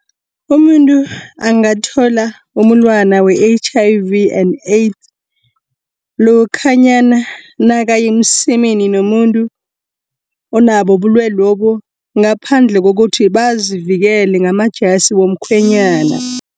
Umuntu angathola umulwana we-H_I_V and AIDS, lokhanyana nakayemsemeni nomuntu, onabo ubulwelobu ngaphandle kokuthi bazivikele ngamajasi womkhwenyana.